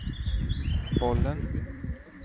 bollen